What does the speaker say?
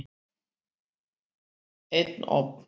Einn ofn.